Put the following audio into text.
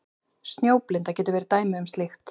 Snjóblinda getur verið dæmi um slíkt.